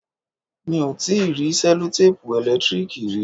Mi ò tíì rí sẹlotẹ́pù ẹ̀lẹ́tíríìkì rí.